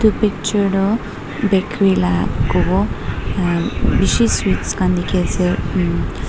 etu picture tu bakery laga kobo bisi sweet khan dekhi ase umm.